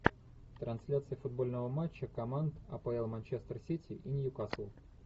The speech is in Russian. трансляция футбольного матча команд апл манчестер сити и ньюкасл